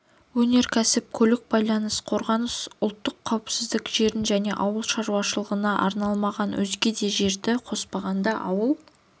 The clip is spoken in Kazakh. өнеркәсіп көлік байланыс қорғаныс ұлттық қауіпсіздік жерін және ауыл шаруашылығына арналмаған өзге де жерді қоспағанда ауыл